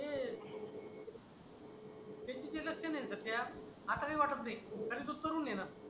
तेकी नाही रस्ते नाही दत्त्या आता काही वाटत नाही तरी तो करून घेन.